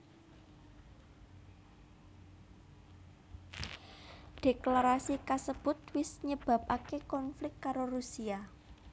Dhéklarasi kasebut wis nyebabaké konflik karo Rusia